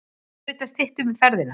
Auðvitað styttum við ferðina.